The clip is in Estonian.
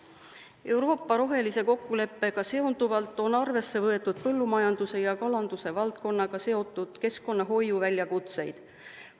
Euroopa rohelise kokkuleppega seonduvalt on arvesse võetud põllumajanduse ja kalanduse valdkonnaga seotud keskkonnahoiu väljakutseid.